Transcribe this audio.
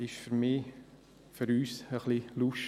Das ist für mich, für uns, etwas undurchsichtig: